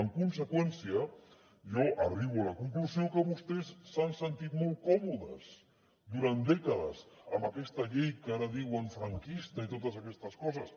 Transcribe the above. en conseqüència jo arribo a la conclusió que vostès s’han sentit molt còmodes durant dècades amb aquesta llei que ara diuen franquista i totes aquestes coses